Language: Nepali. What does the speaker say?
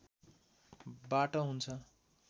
बाट हुन्छ